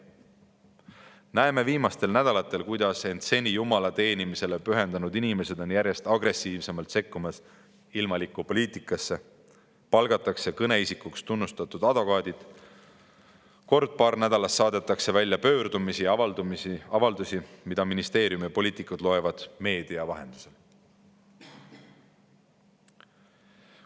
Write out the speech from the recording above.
oleme viimastel nädalatel näinud, kuidas seni end Jumala teenimisele pühendanud inimesed on järjest agressiivsemalt sekkumas ilmalikku poliitikasse: kõneisikuks palgatakse tunnustatud advokaadid, kord-paar nädalas saadetakse välja pöördumisi ja avaldusi, mida ministeerium ja poliitikud loevad meedia vahendusel.